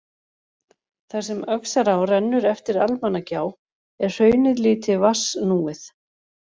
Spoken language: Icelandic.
Þar sem Öxará rennur eftir Almannagjá er hraunið lítið vatnsnúið.